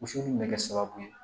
Woso in bɛ kɛ sababu ye